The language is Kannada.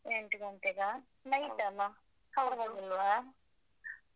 ಎಂಟ್ ಗಂಟೆಗಾ? night ಅಲ? .